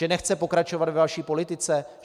Že nechce pokračovat ve vaší politice?